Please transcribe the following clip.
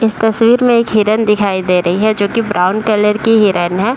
इस तस्वीर में एक हिरन दिखाई दे रही है जो कि ब्राउन कलर की हिरण है।